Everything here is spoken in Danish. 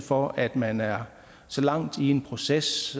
for at man er så langt i en proces